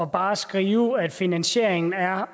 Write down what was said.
bare at skrive at finansieringen er